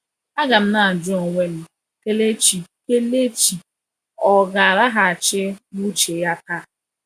A ga m na-ajụ onwe m, Kelechi Kelechi ò ga-alaghachi n’uche ya taa?"